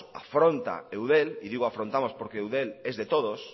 y digo afrontamos porque eudel es de todos